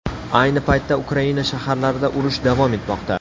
Ayni paytda Ukraina shaharlarida urush davom etmoqda.